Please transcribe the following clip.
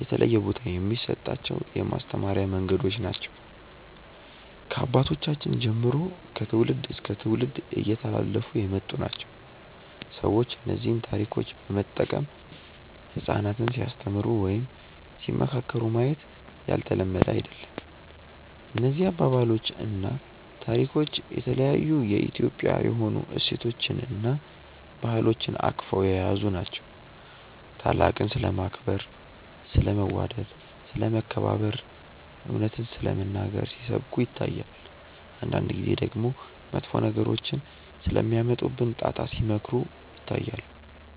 የተለየ ቦታ የሚሰጣቸው የማስተማሪያ መንገዶች ናቸው። ከአባቶቻችን ጀምሮ ከትውልድ እስከ ትውልድ እየተላለፉ የመጡ ናቸው። ሰዎች እነዚህን ታሪኮች በመጠቀም ህጻናትን ሲያስተምሩ ወይም ሲመካከሩ ማየት ያልተለመደ አይደለም። እነዚህ አባባሎች እና ታሪኮች የተለያዩ የኢትዮጵያዊ የሆኑ እሴቶችን እና ባህሎችን አቅፈው የያዙ ናቸው። ታላቅን ስለማክበር፣ ስለ መዋደድ፣ ስለ መከባበር፣ እውነትን ስለመናገር ሲሰብኩ ይታያል። አንዳንድ ጊዜ ደግሞ መጥፎ ነገሮች ስለሚያመጡብን ጣጣ ሲመክሩ ይታያሉ።